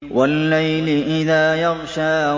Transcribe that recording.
وَاللَّيْلِ إِذَا يَغْشَىٰ